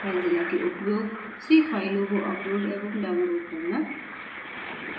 filezilla के उपयोग से फ़ाइलों को upload एवं download करना